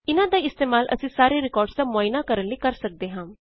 ਇਨਾਂ ਦਾ ਇਸਤੇਮਾਲ ਅਸੀ ਸਾਰੇ ਰਿਕਾਰਡਸ ਦਾ ਮੁਆਇਨਾ ਕਰਨ ਲਈ ਕਰ ਸਕਦੇ ਹਾਂ